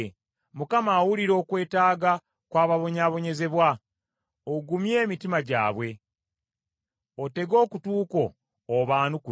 Mukama awulira okwetaaga kw’ababonyaabonyezebwa, ogumye emitima gyabwe; otege okutu kwo obaanukule.